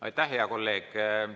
Aitäh, hea kolleeg!